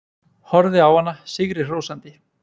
Horfði á hana sigri hrósandi.